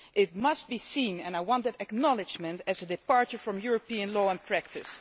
It must be seen, and I want it acknowledged, as a departure from European law and practice.